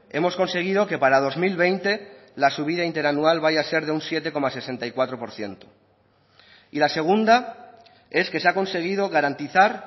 hemos conseguido que para dos mil veinte la subida interanual vaya a ser de un siete coma sesenta y cuatro por ciento y la segunda es que se ha conseguido garantizar